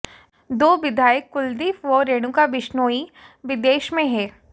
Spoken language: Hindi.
दो विधायक कुलदीप व रेणुका बिश्नोई विदेश में हैं